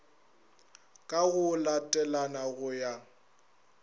ka go latelana go ya